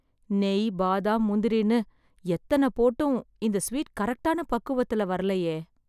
நெய், பாதாம், முந்திரின்னு எத்தன போட்டும் இந்த ஸ்வீட் கரெக்ட்டான பக்குவத்துல வரலயே...